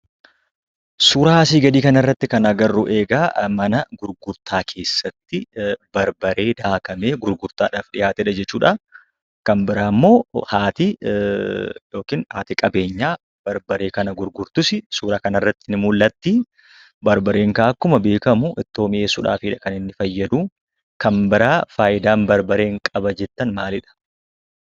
Suuraa asii gadii kanarratti kan agarru egaa mana gurgurtaa keessatti barbaree daakamee gurgurtaadhaaf dhiyaatedha jechuudha. Kan biraammoo haati yookiin haati qabeenyaa barbaree kana gurgurtus suuraa kanarratti mul'atti. Barbareen egaa akkuma beekamu ittoo mi'eessuudhaafidha kan inni fayyadu. Kan biraa fayidaan barbareen qaba jettan maalidhaa?